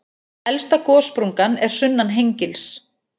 Elsta gossprungan er sunnan Hengils.